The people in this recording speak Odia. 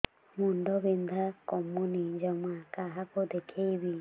ମୁଣ୍ଡ ବିନ୍ଧା କମୁନି ଜମା କାହାକୁ ଦେଖେଇବି